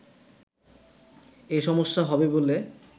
এ সমস্যা হবে বলে